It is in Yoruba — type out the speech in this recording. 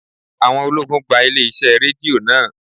Àwọn ológun gba ilé iṣẹ́ Rédíò náà.